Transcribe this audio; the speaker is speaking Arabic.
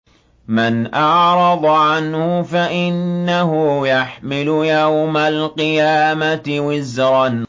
مَّنْ أَعْرَضَ عَنْهُ فَإِنَّهُ يَحْمِلُ يَوْمَ الْقِيَامَةِ وِزْرًا